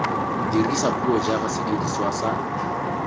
dirisa puo jaaka sediriswa sa